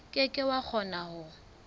ke ke wa kgona ho